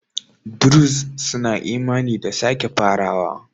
Druze suna imani da sake farawa.